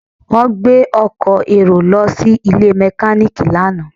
Wọ́n gbé ọkọ̀ èrò lọ sí ilé mẹkáníìkì lánàá